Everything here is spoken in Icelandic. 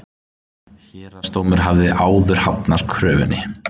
Héraðsdómur hafði áður hafnað kröfunni